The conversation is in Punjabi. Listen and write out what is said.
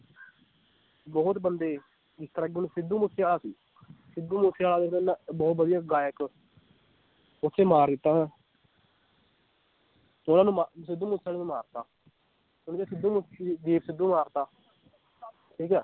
ਬਹੁਤ ਬੰਦੇ ਜਿਸ ਤਰਾਂ ਕਿ ਹੁਣ ਸਿੱਧੂ ਮੂਸੇਵਾਲਾ ਸੀ ਸਿੱਧੂ ਮੂਸੇਵਾਲਾ ਵੀ ਪਹਿਲਾਂ ਵਧੀਆ ਗਾਇਕ ਓਥੇ ਮਾਰ ਦਿੱਤਾ ਉਹਨਾਂ ਨੂੰ ਮਾ ਸਿੱਧੂ ਮੂਸੇਵਾਲੇ ਨੂੰ ਮਾਰਤਾ ਹੁਣ ਜੇ ਸਿੱਧੂ ਮੂਸ ਦੀਪ ਸਿੱਧੂ ਮਾਰਤਾ ਠੀਕ ਹੈ।